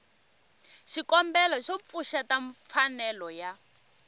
xikombelo xo pfuxeta mfanelo ya